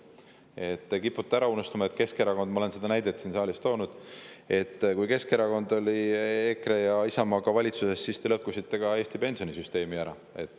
Te kipute ära unustama, et kui Keskerakond – ma olen seda näidet siin saalis juba toonud – oli EKRE ja Isamaaga valitsuses, siis te lõhkusite ära Eesti pensionisüsteemi.